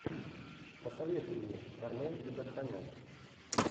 посоветуй мне армен джигарханян